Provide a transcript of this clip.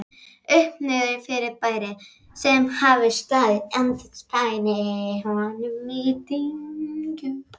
Uppi-Niðri-fyrirbæri, sem hafði staðið andspænis honum í dyngju